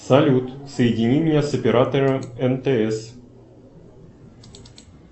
салют соедини меня с оператором мтс